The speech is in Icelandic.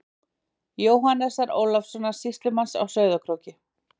Jóhannesar Ólafssonar sýslumanns á Sauðárkróki.